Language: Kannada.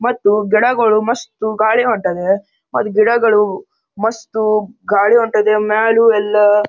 ಮತ್ತು ಗಿಡಗಳು ಮಸ್ತ್ ಗಾಳಿ ಹೊಂಟದೆ ಮತ್ ಗಿಡಗಳು ಮಸ್ತ್ ಗಾಳಿ ಹೊಂಟದೆ ಮ್ಯಾಲೂ ಎಲ್ಲ--